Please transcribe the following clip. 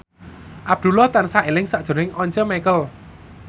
Abdullah tansah eling sakjroning Once Mekel